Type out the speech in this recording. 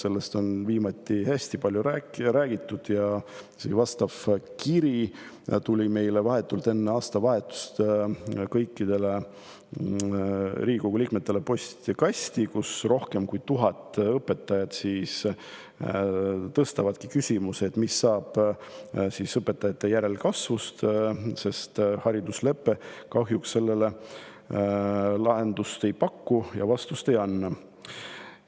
Sellest on viimasel ajal hästi palju räägitud ja vahetult enne aastavahetust tuli kõikide Riigikogu liikmete postkasti isegi vastav kiri, kus rohkem kui tuhat õpetajat tõstatasid küsimuse, mis saab õpetajate järelkasvust, sest hariduslepe kahjuks sellele lahendust ei paku ja vastust ei anna.